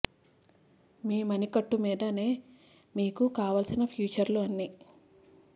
మీ మణికట్టు మీద నే మీకు కావలసిన ఫీచర్లు అన్నీ